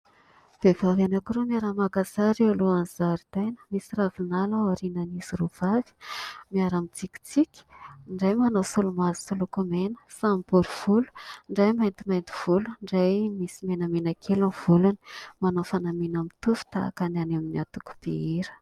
Vehivavy anankiroa miara-maka sary eo alohan'ny zaridaina. Misy ravinala ao aorianan'izy roavavy. Miara-mitsikitsiky; ny iray manao solomaso sy lokomena; samy borivolo, ny iray maintimainty volo, ny iray misy menamenakely ny volony. Manao fanamiana mitovy tahaky ny any amin'ny antokom-pihira.